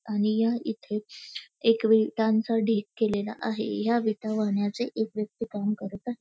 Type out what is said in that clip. आणि या इथे एक विटांचा ढीग केलेला आहे या विटा वाहण्याचे एक व्यक्ती काम करत आहे.